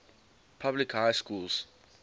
public high schools